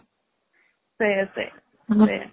ସେଇଆ ସେଇଆ ସେଇଆ